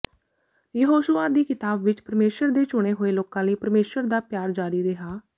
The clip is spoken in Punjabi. ਯਹੋਸ਼ੁਆ ਦੀ ਕਿਤਾਬ ਵਿਚ ਪਰਮੇਸ਼ੁਰ ਦੇ ਚੁਣੇ ਹੋਏ ਲੋਕਾਂ ਲਈ ਪਰਮੇਸ਼ੁਰ ਦਾ ਪਿਆਰ ਜਾਰੀ ਰਿਹਾ